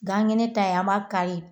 Gan kɛnɛ ta ye an ba kari